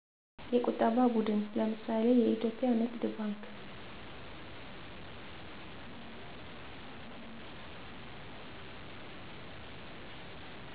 የቁጠባ ቡድን ለምሳሌ ኢትዮጵያ ንግድ ባንክ